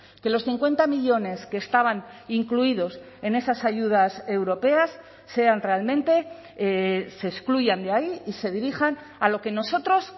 que los cincuenta millónes que estaban incluidos en esas ayudas europeas sean realmente se excluyan de ahí y se dirijan a lo que nosotros